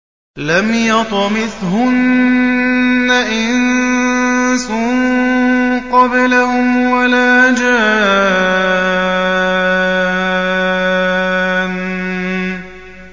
لَمْ يَطْمِثْهُنَّ إِنسٌ قَبْلَهُمْ وَلَا جَانٌّ